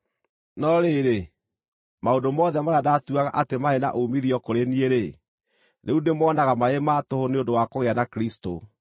No rĩrĩ, maũndũ mothe marĩa ndaatuaga atĩ maarĩ na uumithio kũrĩ niĩ-rĩ, rĩu ndĩmonaga marĩ ma tũhũ nĩ ũndũ wa kũgĩa na Kristũ.